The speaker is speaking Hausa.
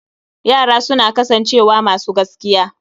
Yara suna kasancewa masu gaskiya